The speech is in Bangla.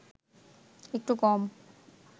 একটু কম